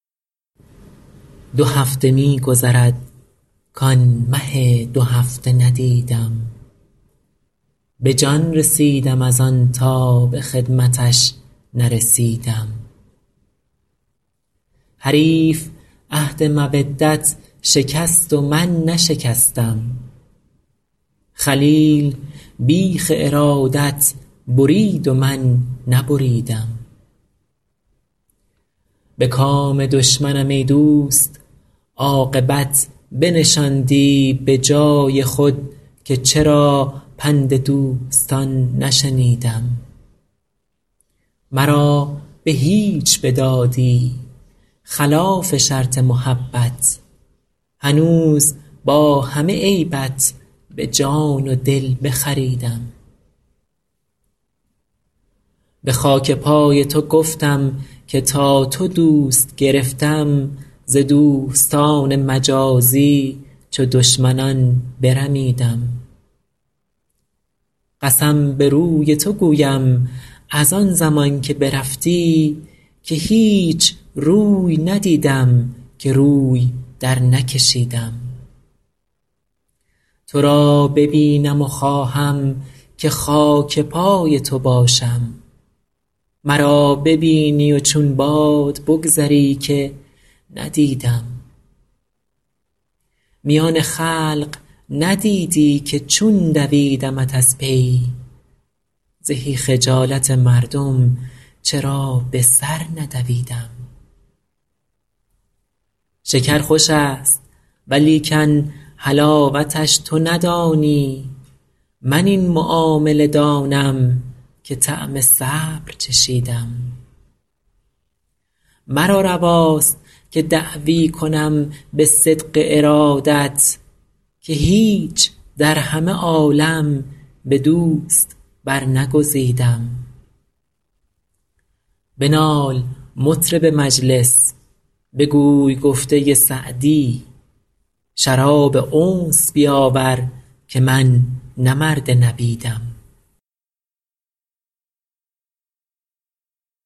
دو هفته می گذرد کآن مه دوهفته ندیدم به جان رسیدم از آن تا به خدمتش نرسیدم حریف عهد مودت شکست و من نشکستم خلیل بیخ ارادت برید و من نبریدم به کام دشمنم ای دوست عاقبت بنشاندی به جای خود که چرا پند دوستان نشنیدم مرا به هیچ بدادی خلاف شرط محبت هنوز با همه عیبت به جان و دل بخریدم به خاک پای تو گفتم که تا تو دوست گرفتم ز دوستان مجازی چو دشمنان برمیدم قسم به روی تو گویم از آن زمان که برفتی که هیچ روی ندیدم که روی درنکشیدم تو را ببینم و خواهم که خاک پای تو باشم مرا ببینی و چون باد بگذری که ندیدم میان خلق ندیدی که چون دویدمت از پی زهی خجالت مردم چرا به سر ندویدم شکر خوش است ولیکن حلاوتش تو ندانی من این معامله دانم که طعم صبر چشیدم مرا رواست که دعوی کنم به صدق ارادت که هیچ در همه عالم به دوست برنگزیدم بنال مطرب مجلس بگوی گفته سعدی شراب انس بیاور که من نه مرد نبیدم